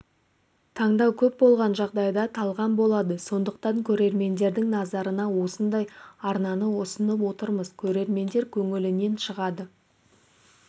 таңдау көп болған жағдайда талғам болады сондықтан көрермендердің назарына осындай арнаны ұсынып отырмыз көрермендер көңілінен шығады